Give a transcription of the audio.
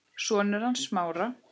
Sonur hans Smára.